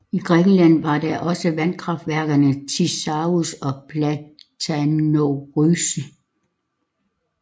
I Grækenland er der også vandkraftværkerne i Thisavros og Platanovrysi